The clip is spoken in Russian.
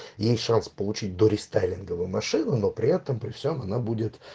есть шанс получить дорестайлинговую машину но при этом при всём она будет